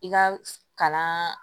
I ka kalan